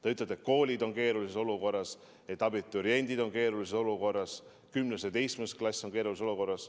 Te ütlete, et koolid on keerulises olukorras, et abituriendid on keerulises olukorras, 10. ja 11. klass on keerulises olukorras.